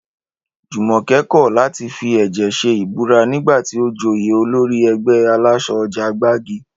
Jùmòké̩ kò̩ láti fi è̩jè̩ s̩e ìbúra nígbà tí ó joyè olórí e̩gbé̩ alás̩o̩ o̩jà Gbági